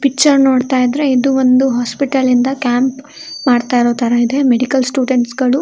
Picture ನೋಡ್ತಾ ಇದ್ರೆ ಇದು ಒಂದು ಹಾಸ್ಪಿಟಲ್ ಇಂದ ಕ್ಯಾಂಪ್ ಮಾಡ್ತಾ ಇರೋ ತರಾ ಇದೆ. ಮೆಡಿಕಲ್ ಸ್ಟುಡೆಂಟ್ಸ್ಗಳು --